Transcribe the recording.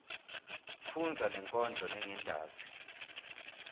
fundza lenkondlo lengentasi